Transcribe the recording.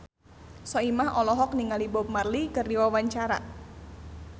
Soimah olohok ningali Bob Marley keur diwawancara